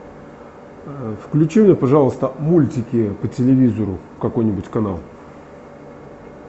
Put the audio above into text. включи мне пожалуйста мультики по телевизору какой нибудь канал